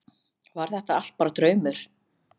Var þetta allt bara draumur?